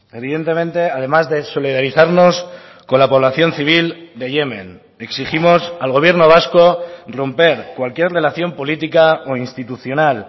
evidentemente además de solidarizarnos con la población civil de yemen exigimos al gobierno vasco romper cualquier relación política o institucional